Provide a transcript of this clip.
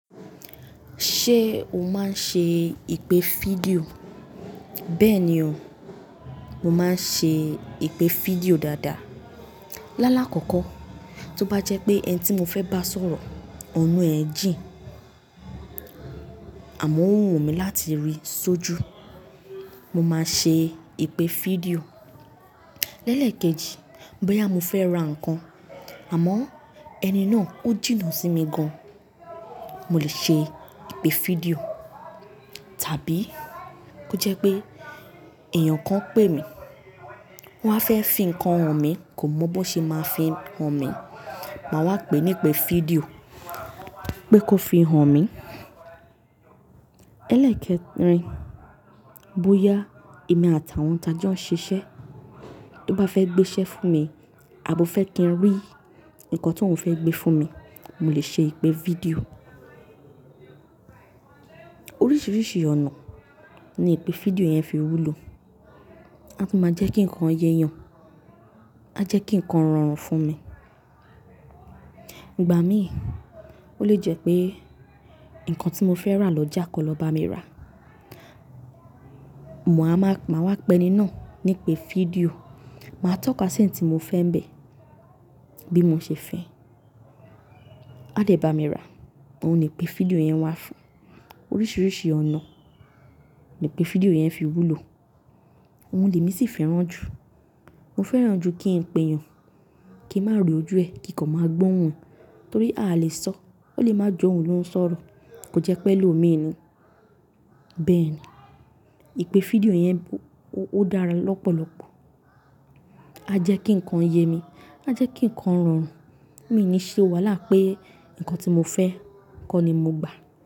Ṣé o máa ń ṣe ìpè fídíò? Bẹ́ẹ̀ ni o, mo máa ń ṣe ìpè fídíò dáadáa. Lálá kọ́kọ́, tó bá jẹ́ pé ẹni tí mo fẹ́ bá sọ̀rọ̀ ọ̀nà ẹ̀ jìn, àmọ́ ó wù mí láti rí i sójú, mo máa ṣe ìpè fídíò. Lẹ́lẹ̀ kejì, bóyá mo fẹ́ ra nǹkan àmọ́ ẹni náà ó jìnnà sí mi gan, mo lè ṣe ìpè fídíò. Tàbí ó jẹ́ pé èèyàn kan pè mí, wọ́n á fẹ́ fi nǹkan hàn mí, kò mọ bó ṣe máa fi hàn mí, màá wá pè nípè fídíò pé kó fi hàn mí. Lẹ́ẹ̀lẹ̀ kẹrin, bóyá èmi àtàwọn tá jọ ó ń ṣiṣẹ́ tó bá fẹ́ gbé iṣẹ́ fún mi àbó fẹ́ kí n rí nǹkan tí òun fẹ́ gbé fún mi, mo lè ṣe ìpè fídíò. Oríṣiríṣi ọ̀nà ni ìpè fídíò yẹn fi wúlò. Á tú máa jẹ́ kí nǹkan yéyàn, á jẹ́ kí nǹkan rọrùn fún mi. Ìgbà míì, ó lè jẹ́ pé nǹkan tí mo fẹ́ rà lọ́jà kọ́ lọ bá mi rà, mòá máa wá pè ẹni náà nípè fídíò, màá tọ́ ka ṣí n tí mo fẹ́ ń bẹ̀, bí mo ṣe fẹ́, á dẹ̀ bá mi rà." Òun nìpè fídíò yẹn wà fún. Oríṣiríṣi ọ̀nà ni ìpè fídíò yẹn fi wúlò. Òun lè mí sì fẹ́ràn jù. Mo fẹ́ràn ju kí n pe èèyàn, kí n má ro ojú ē, kí nǹkan máa gbọ́ ohùn torí a à lè sọ, ó lè má j'óun ló ń sọ̀rọ̀, kó jẹ́ pé ẹlòmíì ni. Bẹ́ẹ̀ ni, ìpè fídíò yẹn ó dára lọ́pọ̀lọpọ̀. Á jẹ́ kí nǹkan yé mi, á jẹ́ kí nǹkan rọrùn. Mi ǹ ní ṣe wàhálà a pé nǹkan tí mo fẹ́, nǹkan ni mo gbà.